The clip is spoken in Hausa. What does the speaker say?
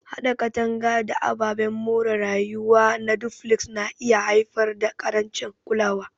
Haɗa katanga da ababen more rayuwa na duflex na iya haifar da ƙarancin kulawa.